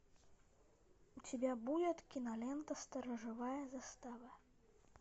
у тебя будет кинолента сторожевая застава